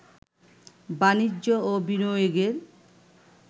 বাণিজ্য ও বিনিয়োগের